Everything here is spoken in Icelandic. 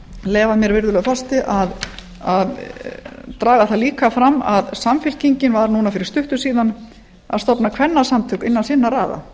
leyfa mér virðulegur forseti að draga það líka fram að samfylkingin var fyrir stuttu síðan að stofna kvennasamtök innan sinna raða